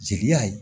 Jeliya ye